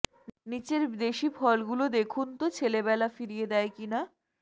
নিচের দেশি ফলগুলো দেখুন তো ছেলেবেলা ফিরিয়ে দেয় কিনা